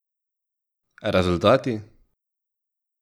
Rezultati?